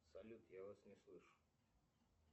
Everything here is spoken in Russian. салют я вас не слышу